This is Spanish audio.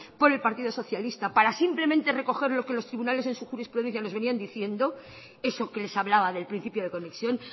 por el partido socialista para simplemente recoger lo que los tribunales en su jurisprudencia nos venían diciendo eso que les hablaba del principio de conexión